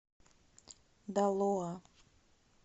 далоа